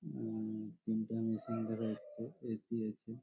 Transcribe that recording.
হু-ম-ম তিনটে মেশিন দেখা যাচ্ছে এ.সি. আছে |